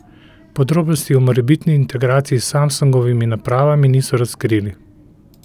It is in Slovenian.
Podrobnosti o morebitni integraciji s Samsungovimi napravami niso razkrili.